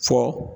Fɔ